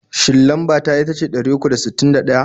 Shin lamba ta itace ɗari uku da sittin da ɗaya?